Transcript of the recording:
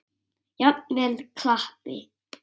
Jafnvel klappi.